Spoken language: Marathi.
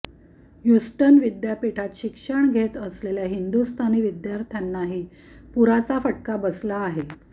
ह्युस्टन विद्यापीठात शिक्षण घेत असलेल्या हिंदुस्थानी विद्यार्थ्यांनाही पुराचा फटका बसला आहे